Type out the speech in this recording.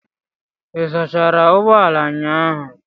Ị sachara ụgbọ ala ụnyahụ?